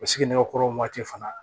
O sigi nɛgɛkɔrɔ waati fana